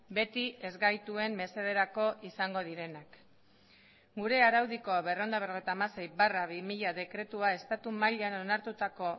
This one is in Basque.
beti ez gaituen mesederako izango direnak gure araudiko berrehun eta berrogeita hamasei barra bi mila dekretua estatu mailan onartutako